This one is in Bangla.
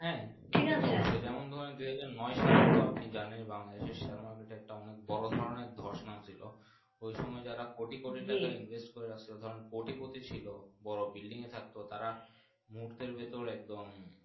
ঠিকাছে যেমন তোমার জানায় বাংলাদেশএর সময় দিকটা অনেক বোরো ধরনের ধস নেমেছিল ওই সময় কোটি কোটি জি টাকা Invest করে রাখছিলো কারণ কোটি কোটি ছিল বোরো Building এ থাকতো তারা মুহূর্তের ভিতর একদম।